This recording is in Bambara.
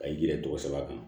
Ka yɛrɛ tɔgɔ sɛbɛn kan